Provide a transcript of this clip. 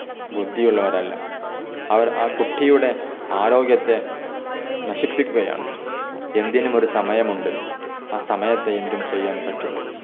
ബുദ്ധിയുള്ളവരല്ല. അവർ ആ കുട്ടിയുടെ ആരോഗ്യത്തെ നശിപ്പിക്കുകയാണ്. എന്തിനും ഒരു സമയമുണ്ട്. ആ സമയത്തെ എന്തും ചെയ്യാൻ പറ്റുള്ളൂ.